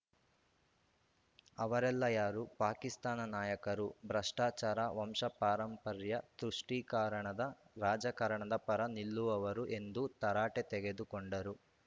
ಅವರೆಲ್ಲಾ ಯಾರು ಪಾಕಿಸ್ತಾನ ನಾಯಕರು ಭ್ರಷ್ಟಾಚಾರ ವಂಶಪಾರಂಪರ‍್ಯ ತುಷ್ಟೀಕರಣದ ರಾಜಕಾರಣದ ಪರ ನಿಲ್ಲುವವರು ಎಂದು ತರಾಟೆ ತೆಗೆದುಕೊಂಡರು